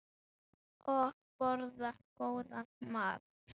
Og borða góðan mat.